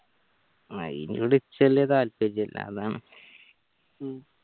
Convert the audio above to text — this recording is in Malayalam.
അയിനോട് വലിയ താല്പര്യല്ല